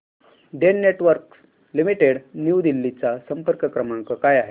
Den Networks Limited New Delhi चा संपर्क क्रमांक काय आहे